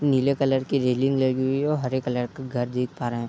नीले कलर की रेलिंग लगी हुई है और हरे कलर का घर दिख पा रहा है।